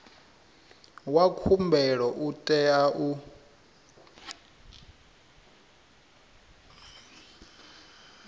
wa khumbelo u tea u